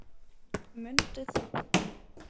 Mundu það!